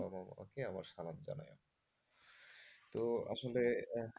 তোমার মা বাবা আমার সালাম জানিও। তো আসলে,